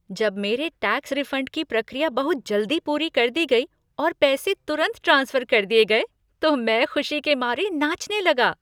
जब मेरे tax refund की प्रक्रिया बहुत जल्दी पूरी कर दी गई और पैसे तुरंत ट्रांसफर कर दिए गए तो मैं खुशी के मारे नाचने लगा।